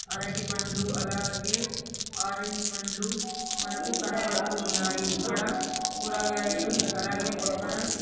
అరటి పండ్లు అలాగే ఆరెంజ్ పండ్లు మనకు కనబడుతూ ఉన్నాయి ఇక్కడ కూరగాయలు అలాగే పక్కన.